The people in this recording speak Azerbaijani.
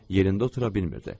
Yerində otura bilmirdi.